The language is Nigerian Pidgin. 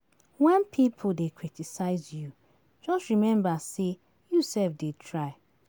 Wen pipo dey criticize you, just remember sey you self dey try.